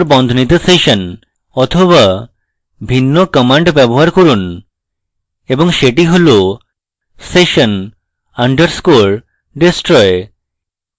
বা ভিন্ন command ব্যবহার করুন এবং সেটি হল session _ destroy